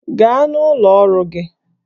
Gaa n'ọrụ gị!